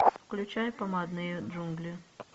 включай помадные джунгли